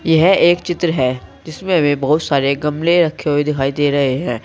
यह एक चित्र है जिससे हमें बहुत सारे गमले रखे हुए दिखाई दे रहे हैं।